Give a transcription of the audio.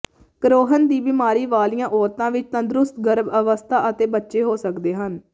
Crohn ਦੀ ਬੀਮਾਰੀ ਵਾਲੀਆਂ ਔਰਤਾਂ ਵਿੱਚ ਤੰਦਰੁਸਤ ਗਰਭ ਅਵਸਥਾ ਅਤੇ ਬੱਚੇ ਹੋ ਸਕਦੇ ਹਨ